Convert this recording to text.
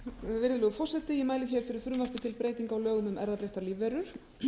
virðulegur forseti ég mæli hér fyrir frumvarpi til laga til breytinga á lögum um erfðabreyttar lífverur